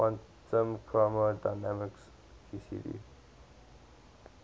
quantum chromodynamics qcd